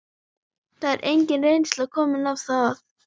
Það er engin reynsla komin á það.